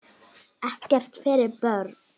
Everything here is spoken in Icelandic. Ekkert fyrir börn.